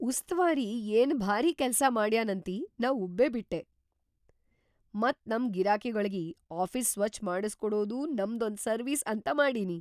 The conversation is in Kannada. ಉಸ್ತವಾರಿ ಎನ್‌ ಭಾರೀ ಕೆಲ್ಸಾ ಮಾಡ್ಯನಂತಿ ನಾ ಉಬ್ಬೇಬಿಟ್ಟೆ, ಮತ್‌ ನಮ್ ಗಿರಾಕಿಗೊಳಿಗಿ ಆಫೀಸ್‌ ಸ್ವಚ್ಛ್‌ ಮಾಡಸ್ಕೊಡದೂ ನಮ್ದೊಂದ್‌ ಸರ್ವೀಸ್‌ ಅಂತ ಮಾಡಿನಿ.